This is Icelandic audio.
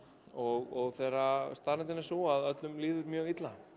og þegar staðreyndin er sú að öllum líður mjög illa